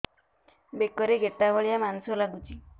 ବେକରେ ଗେଟା ଭଳିଆ ମାଂସ ଲାଗୁଚି